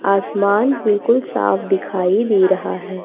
आसमान बिल्कुल साफ दिखाई दे रहा है।